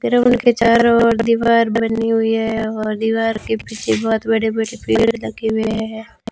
ये रूम के चारों ओर दीवार बनी हुई है और दीवार के पीछे बहोत बड़े-बड़े पेड़ लगे हुए हैं।